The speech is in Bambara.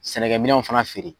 Sɛnɛkɛ minɛnw fana feere .